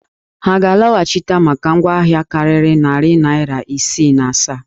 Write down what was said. Ha ga-alọhachịta maka ngwa ahịa karịrị narị naịra isii na asaa?